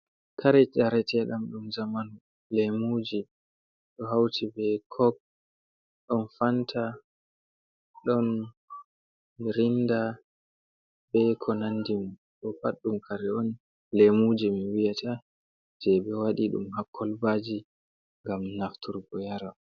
Kare jareteɗam ɗum zamanu lemuji do hauti be cok ɗon fanta ɗon mirinda be ko nandi ɗo pat boɗɗum kare’on lemuji min wiyata je be wadi ɗum hakkolbaji ngam naftur bo yara.